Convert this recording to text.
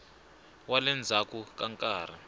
wa le ndzhaku ka nkarhi